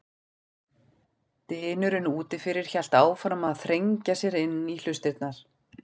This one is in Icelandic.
Dynurinn úti fyrir hélt áfram að þrengja sér inn í hlustirnar.